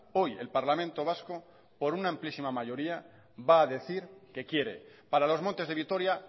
hoy el parlamento vasco por una amplísima mayoría va a decir que quiere para los montes de vitoria